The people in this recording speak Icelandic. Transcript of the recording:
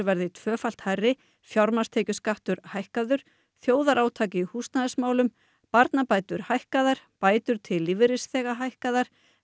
verði tvöfalt hærri fjármagnstekjuskattur hækkaður þjóðarátak í húsnæðismálum barnabætur hækkaðar bætur til lífeyrisþega hækkaðar